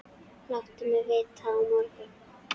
Láttu mig vita á morgun.